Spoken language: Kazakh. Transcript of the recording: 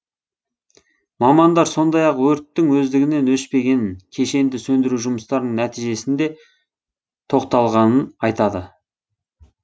мамандар сондай ақ өрттің өздігінен өшпегенін кешенді сөндіру жұмыстарының нәтижесінде тоқталғанын айтады